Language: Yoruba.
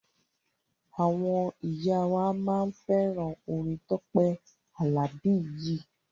Àwọn ìyá wa máa fẹ́ràn orin Tọ́pẹ́ Àlàbí yìí.